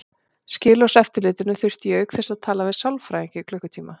Skilorðseftirlitinu þurfti ég auk þess að tala við sálfræðing í klukkutíma.